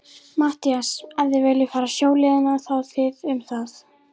MATTHÍAS: Ef þið viljið fara sjóleiðina, þá þið um það.